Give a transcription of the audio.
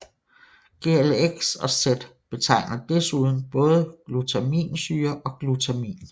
Glx og Z betegner desuden både glutaminsyre og glutamin